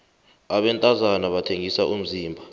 abantazana bathengisa umzimba